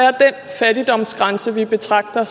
fattigdomsgrænse vi betragter